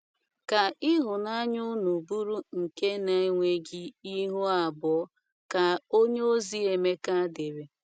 Ka ihụnaya ụnụ bụru nke na enweghi ihụ abụo, ka onyeozi Emeka dere